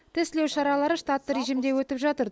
тестілеу шаралары штатты режимде өтіп жатыр